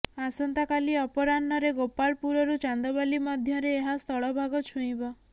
ଆସନ୍ତା କାଲି ଅପରାହ୍ନରେ ଗୋପାଳପୁରରୁ ଚାନ୍ଦବାଲି ମଧ୍ୟରେ ଏହା ସ୍ଥଳଭାଗ ଛୁଇଁବ